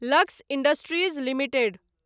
lux industries limited